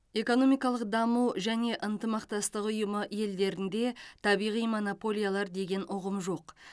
экономикалық даму және ынтымақтастық ұйымы елдерінде табиғи монополиялар деген ұғым жоқ